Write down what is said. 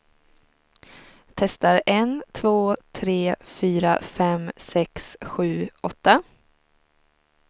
Testar en två tre fyra fem sex sju åtta.